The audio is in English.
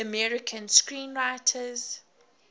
american screenwriters